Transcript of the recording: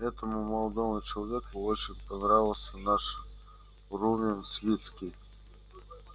этому молодому человеку очень понравился наш рувим свицкий